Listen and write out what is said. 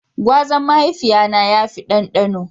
Gwazan mahaifiya na ya fi dandano.